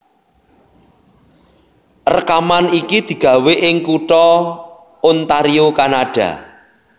Rèkaman iki digawé ing kutha Ontario Kanada